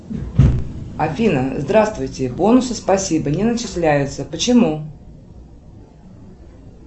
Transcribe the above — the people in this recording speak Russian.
афина здравствуйте бонусы спасибо не начисляются почему